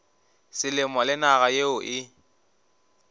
selemo le naga yeo e